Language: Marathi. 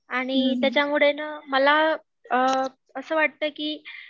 आणि त्याच्यामुळे नं मला अ असं वाटतं की